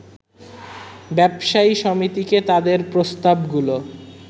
ব্যবসায়ী সমিতিকে তাদের প্রস্তাবগুলো